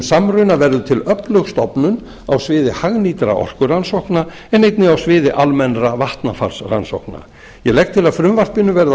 samruna verður til öflug stofnun á sviði hagnýtra orkurannsókna en einnig á sviði almennra vatnafarsrannsókna ég legg til að frumvarpinu verði að